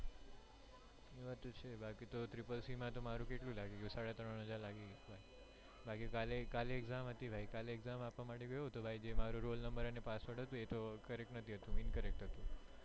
એ વાત તો છે બાકી તો triple c માં મારું કેટલું લાગી ગયું સાડા ત્રણ હજાર લાગી ગયું બાકી કાલે કાલે exam હતી કાલે exam આપવા ગયો તો જે ભાઈ મારો roll number અને password હતું e તો correct નથી હતું incorrect હતુ